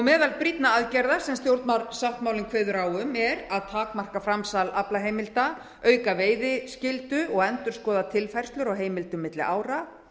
meðal brýnna aðgerða sem stjórnarsáttmálinn kveður á um er að takmarka framsal á aflaheimildum auka veiðiskyldu og endurskoða tilfærslur á heimildum milli ára